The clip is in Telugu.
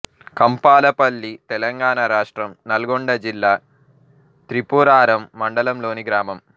కంపాలపల్లి తెలంగాణ రాష్ట్రం నల్గొండ జిల్లా త్రిపురారం మండలంలోని గ్రామం